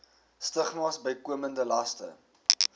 stigmas bykomende laste